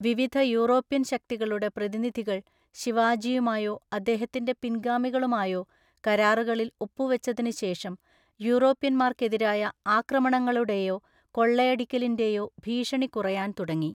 വിവിധ യൂറോപ്യൻ ശക്തികളുടെ പ്രതിനിധികൾ ശിവാജിയുമായോ അദ്ദേഹത്തിന്റെ പിൻഗാമികളുമായോ കരാറുകളിൽ ഒപ്പുവച്ചതിനുശേഷം, യൂറോപ്യന്മാർക്കെതിരായ ആക്രമണങ്ങളുടെയോ കൊള്ളയടിക്കലിന്റെയോ ഭീഷണി കുറയാൻ തുടങ്ങി.